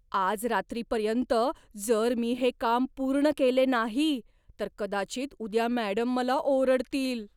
आज रात्रीपर्यंत जर मी हे काम पूर्ण केले नाही, तर कदाचित उद्या मॅडम मला ओरडतील.